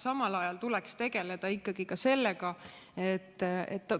Samal ajal tuleks tegeleda ka sellega,